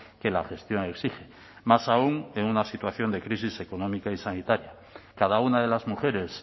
que la gestión exige más aún en una situación de crisis económica y sanitaria cada una de las mujeres